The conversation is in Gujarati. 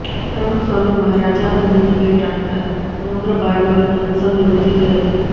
પ્રમુખ સ્વામી મહારાજે આ મંદિરની ભેટ આપતા સમગ્ર બારડોલીમાં સત્સંગની વૃદ્ધિ થઈ હતી